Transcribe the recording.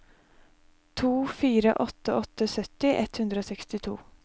to fire åtte åtte sytti ett hundre og sekstito